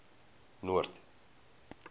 noord